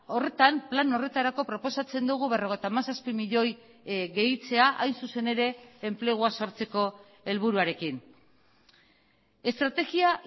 horretan plan horretarako proposatzen dugu berrogeita hamazazpi milioi gehitzea hain zuzen ere enplegua sortzeko helburuarekin estrategia